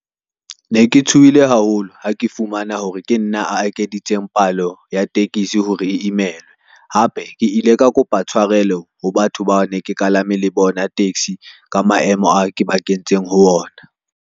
Ne ke tshohile haholo, ha ke fumana hore ke nna a ekeditseng palo ya tekesi hore e imelwe, hape ke ile ka kopa tshwarelo ho batho bao ne ke kalame le bona taxi ka maemo ao ke ba kentseng ho ona.